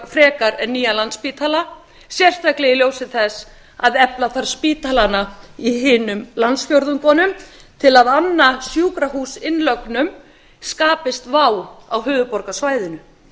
frekar en nýjan landspítala sérstaklega í ljósi þess að efla þarf spítalana í hinum landsfjórðungunum til að anna sjúkrahús innlögnum skapist vá á höfuðborgarsvæðinu